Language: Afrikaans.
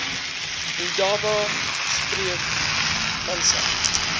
indaba spreek vanself